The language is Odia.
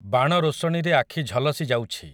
ବାଣ ରୋଶଣୀରେ ଆଖି ଝଲସି ଯାଉଛି ।